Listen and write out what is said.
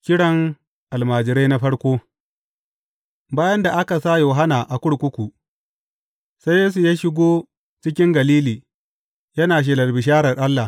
Kiran Almajirai na farko Bayan da aka sa Yohanna a kurkuku, sai Yesu ya shigo cikin Galili, yana shelar bisharar Allah.